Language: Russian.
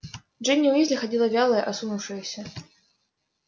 джинни уизли ходила вялая осунувшаяся